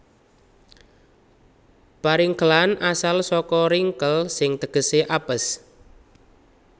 Paringkelan asal saka ringkel sing tegesé apes